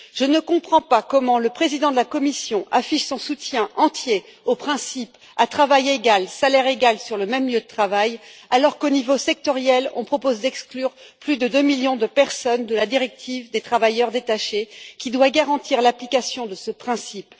Je ne comprends pas comment le président de la Commission affiche son soutien entier au principe à travail égal, salaire égal sur un même lieu de travail alors qu'au niveau sectoriel, on propose d'exclure plus de 2 millions de personnes de la directive sur les travailleurs détachés, qui doit garantir l'application de ce principe.